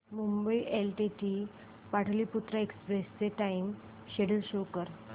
Mumbai LTT Pataliputra express चे time schedule show कर